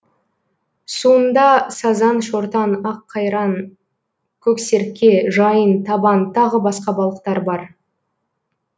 суында сазан шортан аққайран көксерке жайын табан тағы басқа балықтар бар